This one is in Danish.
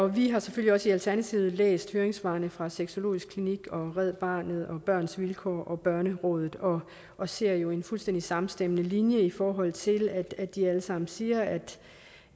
vi har selvfølgelig også i alternativet læst høringssvarene fra sexologisk klinik red barnet børns vilkår og børnerådet og og ser jo en fuldstændig samstemmende linje i forhold til at at de alle sammen siger at